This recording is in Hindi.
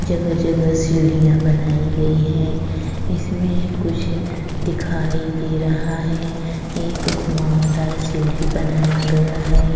जगह-जगह सीढिया बनाई गई है इसमें कुछ दिखाई दे रहा है एक घुमावदार सीढ़ी बनाया गया है।